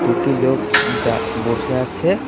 দুটি লোক দা বসে আছে।